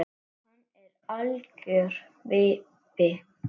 Hann er algjör vibbi.